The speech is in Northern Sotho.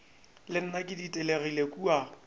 le nna ke ditelegile kua